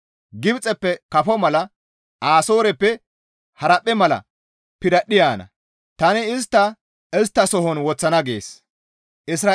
Gibxeppe kafo mala Asooreppe haraphphe mala piradhdhi yaana. Tani istta isttasohon woththana» gees.